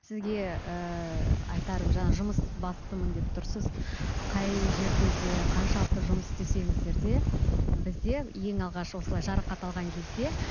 сізге ыыы айтарым жаңа жұмысбастымын деп тұрсыз қай жерде де қаншалықты жұмыс істесеңіздер де бізде ең алғаш осылай жарақат алған кезде